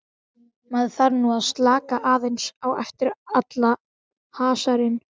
Maður þarf nú að slaka aðeins á eftir allan hasarinn.